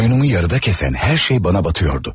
Oyunumu yarıda kəsən hər şey bana batıyordu.